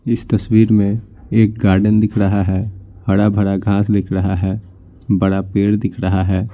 इस तस्वीर में एक गार्डन दिख रहा है हरा-भरा घास दिख रहा है बड़ा पेड़ दिख रहा है।